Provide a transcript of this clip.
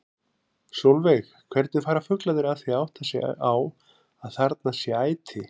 Sólveig: Hvernig fara fuglarnir að því að átta sig á að þarna sé æti?